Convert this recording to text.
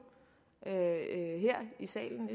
her i salen